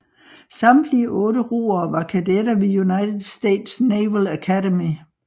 Samtlige otte roere var kadetter ved United States Naval Academy